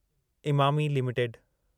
Emami limited